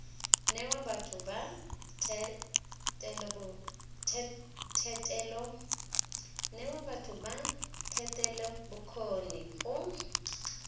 newa batho ba thetelelobokgoni go